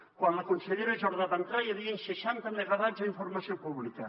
quan la consellera jordà va entrar hi havien seixanta megawatts a informació pública